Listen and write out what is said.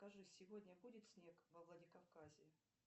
скажи сегодня будет снег во владикавказе